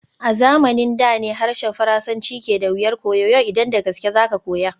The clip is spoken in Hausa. A zamanin da ne harshen Faransanci ke da wuyar koyo, yau idan da gaske za ka koya.